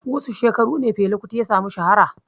Wasu shekaru ne Fela Kuti ya sami shahara?